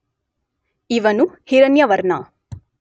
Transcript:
ಇವನು ಹಿರಣ್ಯವರ್ಣ